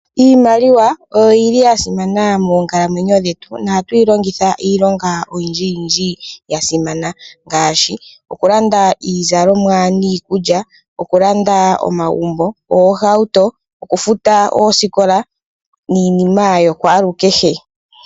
Iimaliwa oyo yili ya simana moonkalamwenyo dhetu. Oha tuyi longitha iilonga oyindji ya simana ngaashi okulanda iizalomwa niikulya, okulanda omagumbo, oohauto, okufuta oosikola niinima yokwaalukehe.